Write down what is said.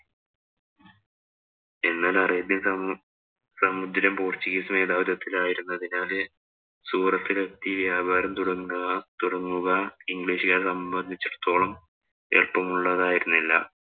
എന്നാല്‍ അറേബ്യന്‍ സമു സമുദ്രം പോര്‍ച്ചുഗീസ് മേധാവിത്വത്തിലായതിനാല് സൂറത്തിലെത്തി വ്യാപാരം തുടങ്ങുത തുടങ്ങുക ഇംഗ്ലീഷുകാരെ സംബന്ധിച്ചടുത്തോളം എളുപ്പമുള്ളതായിരുന്നില്ല.